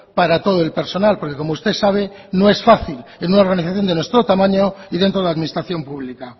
para todo el personal porque como usted sabe no es fácil en una organización de nuestro tamaño y dentro de la administración pública